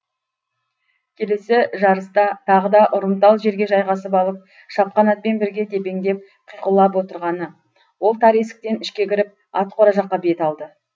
келесі жарыста тағы да ұрымтал жерге жайғасып алып шапқан атпен бірге тепеңдеп қиқулап отырғаны ол тар есіктен ішке кіріп ат қора жаққа бет алды